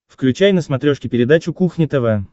включай на смотрешке передачу кухня тв